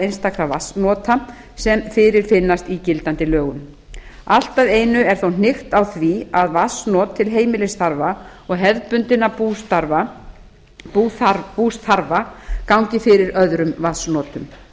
einstakra vatnsnota sem fyrirfinnast í gildandi lögum allt að einu er þó hnykkt á því að vatnsnot til heimilisþarfa og hefðbundinna búsþarfa gangi fyrir öðrum vatnsnotum